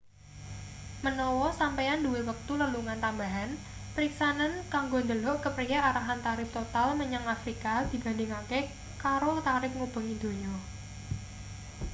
menawa sampeyan duwe wektu lelungan tambahan periksanen kanggo ndelok kepriye arahan tarip total menyang afrika dibandingake karo tarip ngubengi donya